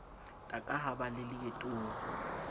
taka ha ba le leetong